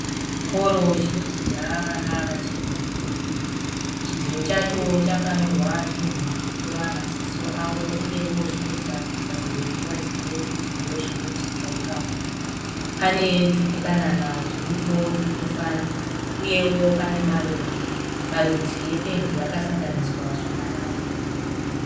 Chikoro chinodzidza vana vachiri vadiki diki. Chidziro chacho chakanyorwa zvinhu zvinotora maziso avo uye zvinoita kuti vabereki vazive kuti ndozvinoitika ipapo. Pane tupukanana tiripo turikufara uyewo pane maruva. Marudzi ependi akasanganiswa zvakanaka.